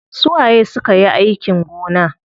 Su waye sukayi aikin gona?